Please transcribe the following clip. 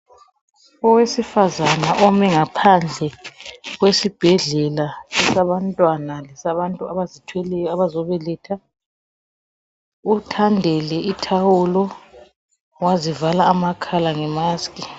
Owesifazane ome ngaphandle kwesibhedlela sabantwana lesabantu abazithweleyo abazobeletha, uthandele ithawulo wazivala amakhala ngemask